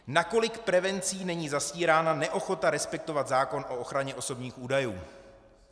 Nakolik prevencí není zastírána neochota respektovat zákon o ochraně osobních údajů.